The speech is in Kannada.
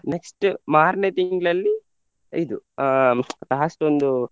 Next ಮಾರ್ನೆ ತಿಂಗ್ಳಲ್ಲಿ ಇದು ಅಹ್ last ಒಂದು.